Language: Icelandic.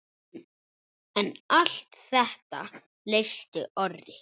En allt þetta leysti Orri.